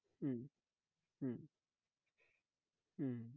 হম হম হম